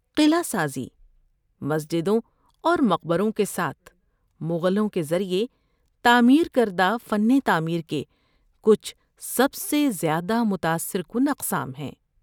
قلعہ سازی، مسجدوں اور مقبروں کے ساتھ، مغلوں کے ذریعہ تعمیر کردہ فن تعمیر کے کچھ سب سے زیادہ متاثر کن اقسام ہیں۔